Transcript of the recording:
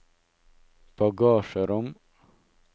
bagasjerom